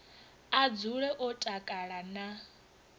a dzule o takala na